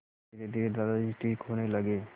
धीरेधीरे दादाजी ठीक होने लगे